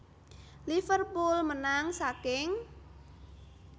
Liverpool menang saking